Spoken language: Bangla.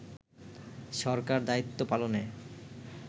সরকার দায়িত্ব পালনে